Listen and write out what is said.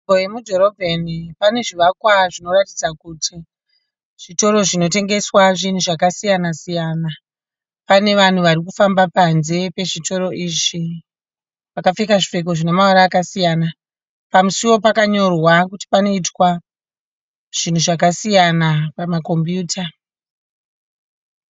Nzvimbo yemudhorobheni pane zvivakwa zvinoratidza kuti zvitoro zvinotengesa zvinhu zvakasiyana-siyana. Pane vanhu varikufamba panze pe zvitoro izvi vakapfeka zvipfeko zvine mavara akasiyana. Pamusuwo pakanyorwa kuti panoitwa zvinhu zvakasiyana pamakombuyuta.